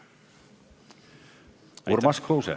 Urmas Kruuse.